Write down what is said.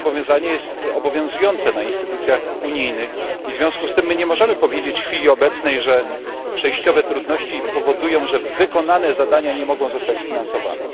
To zobowiązanie jest obowiązujące w instytucjach unijnych i w związku z tym my nie możemy powiedzieć w chwili obecnej, że przejściowe trudności powodują, że wykonane zadania nie mogą zostać sfinansowane.